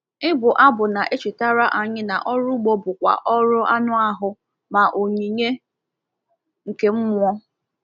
Ịbụ abụ na-echetara anyị na ọrụ ugbo bụ kwa ọrụ anụ ahụ ma onyinye nke mmụọ.